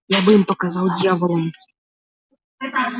я бы им показал дьяволам